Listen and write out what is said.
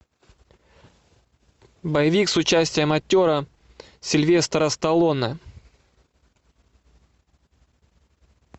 боевик с участием актера сильвестра сталлоне